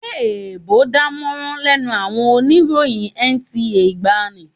Ṣé èèbò ò dánmọ́rán lẹ́nu àwọn oníròyìn NTA ìgbàanì?